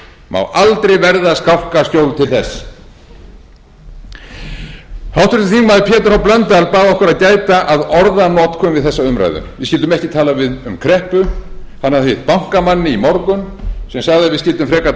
má aldrei verða skálkaskjól til þess háttvirtur þingmaður pétur h blöndal bað okkur að gæta að orðanotkun við þessa umræðu við skyldum ekki tala um kreppu hann hafði hitt bankamann í morgun sem sagði að við skyldum frekar